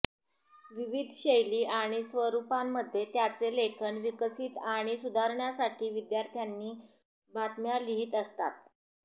विविध शैली आणि स्वरूपांमध्ये त्यांचे लेखन विकसित आणि सुधारण्यासाठी विद्यार्थ्यांनी बातम्या लिहीत असतात